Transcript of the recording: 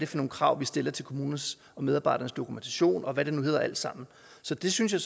for nogle krav vi stiller til kommunernes og medarbejdernes dokumentation og hvad det nu hedder alt sammen så det synes jeg